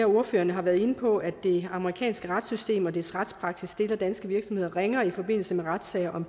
ordførere har været inde på at det amerikanske retssystem og dets retspraksis stiller danske virksomheder ringere i forbindelse med retssager om